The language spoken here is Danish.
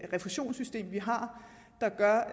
refusionssystem vi har der gør